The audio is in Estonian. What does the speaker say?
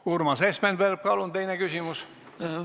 Urmas Espenberg, palun teine küsimus!